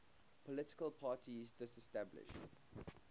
political parties disestablished